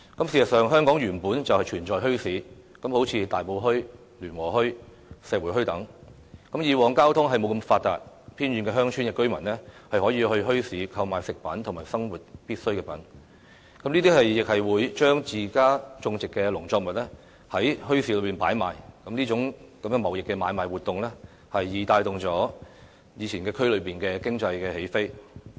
事實上，香港本來便存在墟市，例如大埔墟、聯和墟、石湖墟等，以往交通不大發達，偏遠鄉村的居民可以到墟市購買食品和生活必須品，他們亦會將自家種植的農作物放在墟市擺賣，這種貿易買賣活動帶動了區內的經濟起飛。